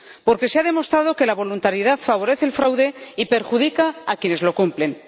Porque se ha demostrado que la voluntariedad favorece el fraude y perjudica a quienes cumplen.